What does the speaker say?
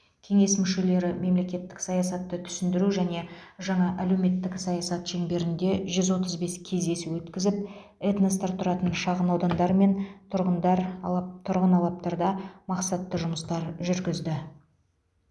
кеңес мүшелері мемлекеттік саясатты түсіндіру және жаңа әлеуметтік саясат шеңберінде жүз отыз бес кездесу өткізіп этностар тұратын шағынаудандар мен тұрғындар алап тұрғын алаптарда мақсатты жұмыстар жүргізді